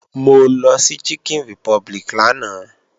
Mo lọ sí Chicken Republic lánàá